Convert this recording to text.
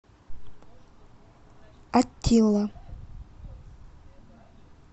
аттила